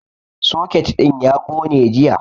Soket ɗin ya ƙone jiya